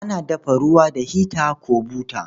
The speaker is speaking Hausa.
Ana dafa ruwa da hita ko buta.